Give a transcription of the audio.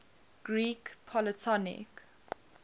greek polytonic